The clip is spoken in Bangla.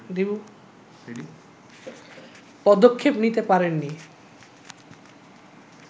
পদক্ষেপ নিতে পারেননি